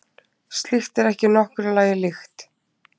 Slíkt er ekki nokkru lagi líkt